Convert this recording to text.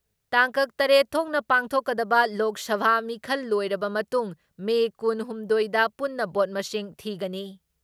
ꯇꯥꯡꯀꯛ ꯇꯔꯦꯠ ꯊꯣꯛꯅ ꯄꯥꯡꯊꯣꯛꯀꯗꯕ ꯂꯣꯛ ꯁꯚꯥ ꯃꯤꯈꯜ ꯂꯣꯏꯔꯕ ꯃꯇꯨꯡ ꯃꯦ ꯀꯨꯟ ꯍꯨꯝꯗꯣꯏꯗ ꯄꯨꯟꯅ ꯚꯣꯠ ꯃꯁꯤꯡ ꯊꯤꯒꯅꯤ ꯫